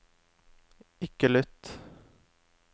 ikke lytt